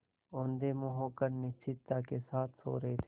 औंधे मुँह होकर निश्चिंतता के साथ सो रहे थे